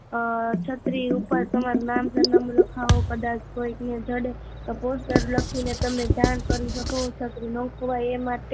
અ, છત્રી ઉપર તમારું નામ સરનામું લખવો, કદાચ કોઈ ને જડે તો પોસ્ટકાર્ડ લખી ને તમને જાણ કરી સકે, છત્રી ન ખોવાય એ